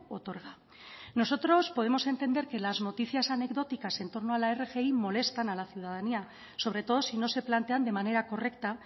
otorga nosotros podemos entender que las noticias anecdóticas en torno a la rgi molestan a la ciudadanía sobre todo si no se plantean de manera correcta